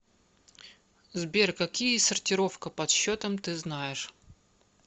сбер какие сортировка подсчетом ты знаешь